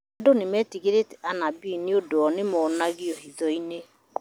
Andũ nĩmetigĩrĩte anabii nĩũndũ o nĩmonagoa marĩ marĩ hitho-inĩ